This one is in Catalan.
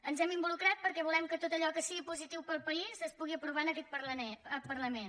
ens hem involucrat perquè volem que tot allò que sigui positiu per al país es pugui aprovar en aquest parlament